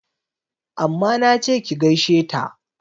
Amma nache ki gaishe ta!